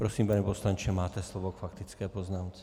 Prosím, pane poslanče, máte slovo k faktické poznámce.